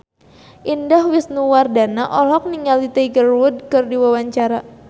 Indah Wisnuwardana olohok ningali Tiger Wood keur diwawancara